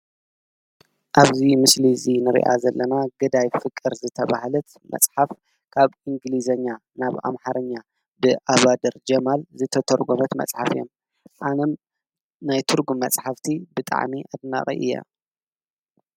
ኣብዚ ምስሊ እዚ እንሪኣ ዘለና ገዳይ ፍቅር ዝተባሃለት መፅሓፍ ካብ እንግሊዝኛ ናብ ኣምሓርኛ ብኣባደር ጀማል ዝተተርጎመት መፅሓፍ እያ፡፡ ኣነም ናይ ትርጉም መፅሓፍቲ ብጣዕሚ አድናቒ እየ፡፡